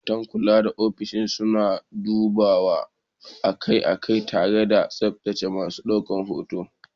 Ma'aikatan kula da ofis suna dubawa akai-akai tare da tsaftace masu ɗaukar hoto.